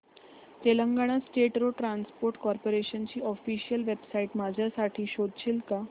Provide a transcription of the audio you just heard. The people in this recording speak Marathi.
Telangana state road transport corporation ची ऑफिशियल वेबसाइट माझ्यासाठी शोधशील का